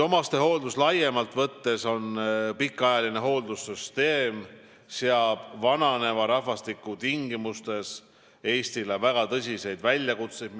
Omastehooldus laiemalt võttes on pikaajaline hooldussüsteem, mis minu arvates seab vananeva rahvastiku tingimustes Eestile väga tõsiseid väljakutseid.